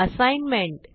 assignment